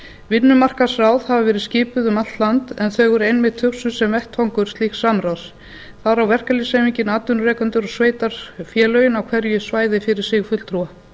vinnumarkaðsráð hafa verið skipuð um allt land en þau voru einmitt hugsuð sem vettvangur slíks samráðs þar á verkalýðshreyfingin atvinnurekendur og sveitarfélögin á hverju svæði fyrir sig fulltrúa